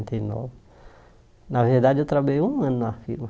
e nove Na verdade, eu trabalhei um ano na firma.